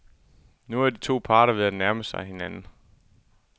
Nu er de to parter ved at nærme sig hinanden igen.